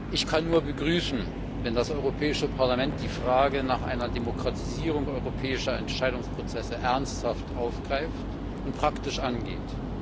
Ich kann es nur begrüßen, wenn das Europäische Parlament die Frage nach einer Demokratisierung europäischer Entscheidungsprozesse ernsthaft aufgreift und praktisch angeht.